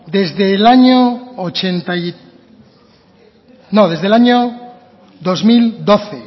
desde el año dos mil doce